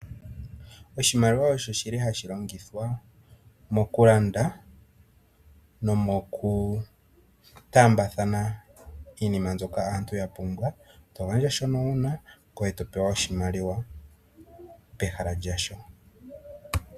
Oshimaliwa osho shili hashi longithwa mokulanda, nomokutaambathana iinima mbyoka aantu ya pumbwa, togandja shono una, ngoye topewa oshimaliwa pehala lyasho.